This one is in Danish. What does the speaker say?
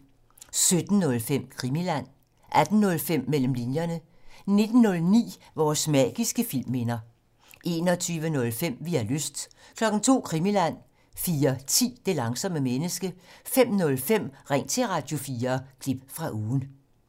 17:05: Krimiland 18:05: Mellem linjerne 19:09: Vores magiske filmminder 21:05: Vi har lyst 02:00: Krimiland 04:10: Det langsomme menneske 05:05: Ring til Radio4 – klip fra ugen